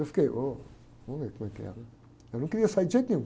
Eu fiquei, ôh, vamos ver como é que é, né? Eu não queria sair de jeito nenhum.